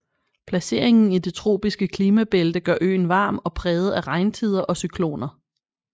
Placeringen i det tropiske klimabælte gør øen varm og præget af regntider og cykloner